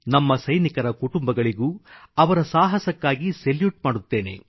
ನಮ್ಮ ಸೈನಿಕರ ಕುಟುಂಬಗಳಿಗೂ ಅವರ ಸಾಹಸಕ್ಕಾಗಿ ಸೆಲ್ಯೂಟ್ ಮಾಡುತ್ತೇನೆ